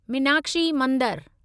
मीनाक्षी मंदरु